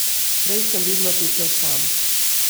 Prej sem vedno tekel sam.